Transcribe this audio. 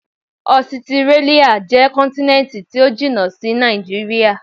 Ọsitírálíà jẹ́ kọ́ntínẹ́ntì tó jìnà sí Nàìjíríà.